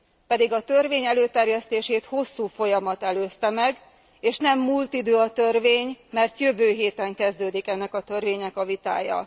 Pedig a törvény előterjesztését hosszú folyamat előzte meg, és nem múlt idő a törvény, mert jövő héten kezdődik ennek a törvénynek a vitája.